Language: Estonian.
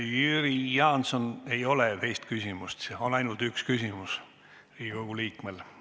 Jüri Jaanson, ei saa teist küsimust esitada, Riigikogu liikmel on õigus esitada üks küsimus.